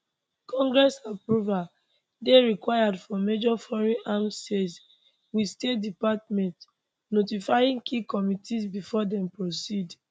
congress approval dey required for major foreign arms sales wit state department notifying key committees before dem proceed